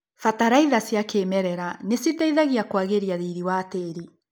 Bataraitha cia kĩmerera nĩciteithagia kwagĩria riri wa tĩri.